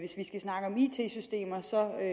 snakke om it systemer